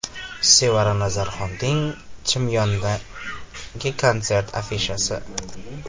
Sevara Nazarxonning Chimyondagi konserti afishasi.